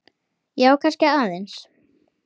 Já, kannski aðeins.